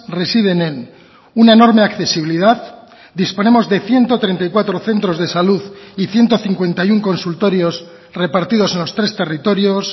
residen en una enorme accesibilidad disponemos de ciento treinta y cuatro centros de salud y ciento cincuenta y uno consultorios repartidos en los tres territorios